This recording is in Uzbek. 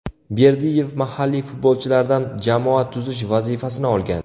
Berdiyev mahalliy futbolchilardan jamoa tuzish vazifasini olgan.